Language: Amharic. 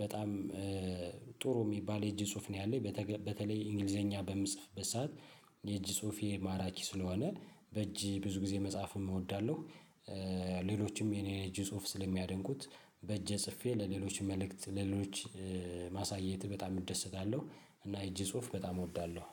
በጣም ጥሩ የሚባል የእጅ ጽሁፍ ነው ያለኝ በተለይ እንግሊዘኛ በምጽፍ ሰዓት የእጅ ጽሁፌ ማራኪ ስለሆነ በእጅ ብዙ ጊዜ መጻፍም እወዳለሁ። ሌሎችም የኔ እጅ ጽሁፍ ስለሚያደንቁት በእጅ ጽፌ ለሌሎች መልእክት ለሌሎች ማሳየት በጣም እደሰታለሁ። እና እጅ ጽሁፍ በጣም እወዳለሁ።